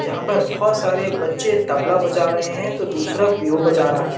जहां पर बोहोत सारे बच्चे तबला बजा रहे हैं तो दूसरा पीहू बजा रहा है।